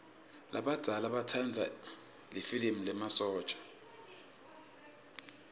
labadzala batsanza lifilimi lemasotja